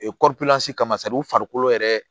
kama u farikolo yɛrɛ